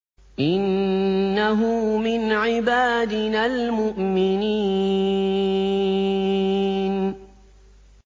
إِنَّهُ مِنْ عِبَادِنَا الْمُؤْمِنِينَ